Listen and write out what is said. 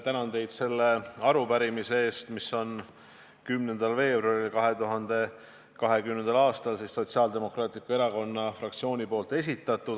Tänan teid selle arupärimise eest, mille on k.a 10. veebruaril esitanud Sotsiaaldemokraatliku Erakonna fraktsioon.